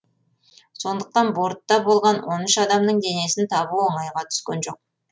сондықтан бортта болған он үш адамның денесін табу оңайға түскен жоқ